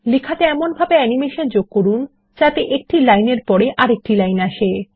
লেখাগুলি এমনভাবে অ্যানিমেশন যোগ করুন যাতে একটি লাইনের পরে আরেকটি লাইন আসে